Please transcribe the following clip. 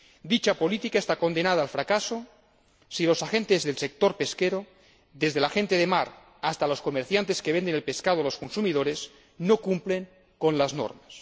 Dicha política está condenada al fracaso si los agentes del sector pesquero, desde la gente de mar hasta los comerciantes que venden el pescado a los consumidores, no cumplen con las normas.